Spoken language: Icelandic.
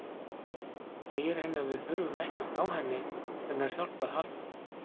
Segir henni að við þurfum ekkert á hennar hjálp að halda.